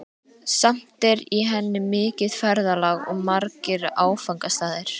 Samt er í henni mikið ferðalag og margir áfangastaðir.